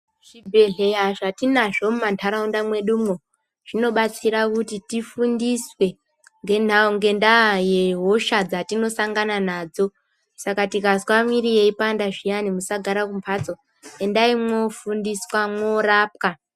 Zvibhedhleya zvatinazvo mumantaraunda mwedumwo zvinobatsira kuti tifundiswe ngendaa yehosha dzatinosangana nadzo. Saka tikazwa muiri yeipanda zviyani musagara mumbatso, endai moofundiswa, mwoorapwa.